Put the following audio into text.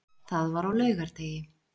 Það var á laugardegi.